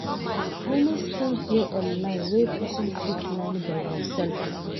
Many skills de online wey person fit learn by himself